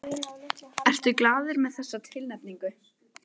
Ertu glaður með þessa tilnefningu?